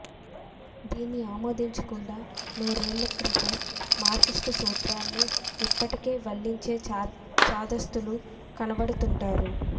దీన్ని ఆమోదించకుండా నూరేళ్ల క్రితం మార్క్సిస్ట్ సూత్రాలనే యిప్పటికే వల్లించే చాదస్తులు కనబడుతూంటారు